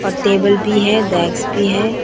और टेबल भी है बैग्स भी है।